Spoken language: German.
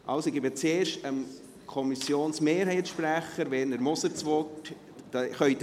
Ich gebe zuerst dem Kommissionsmehrheitssprecher das Wort.